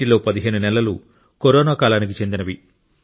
వీటిలో15 నెలలు కరోనా కాలానికి చెందినవి